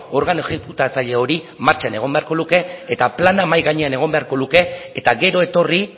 organo exekutatzaile hori martxan egon beharko luke eta plana mahai gainean egon beharko luke eta gero etorri